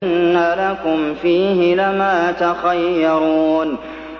إِنَّ لَكُمْ فِيهِ لَمَا تَخَيَّرُونَ